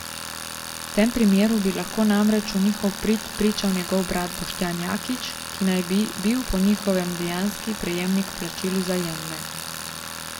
V tem primeru bi lahko namreč v njihov prid pričal njegov brat Boštjan Jaklič, ki naj bi bil po njihovem dejanski prejemnik plačil Vzajemne.